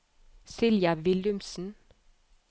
Silja Willumsen